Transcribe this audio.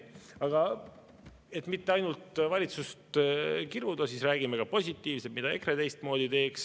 Aga et mitte ainult valitsust kiruda, siis räägime ka positiivsest, mida EKRE teistmoodi teeks.